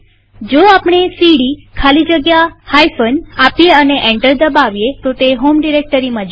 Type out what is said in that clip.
જો આપણે સીડી ખાલી જગ્યા બાદબાકીનું ચિહ્ન આપીએ અને એન્ટર દબાવીએ તો તે હોમ ડિરેક્ટરીમાં જશે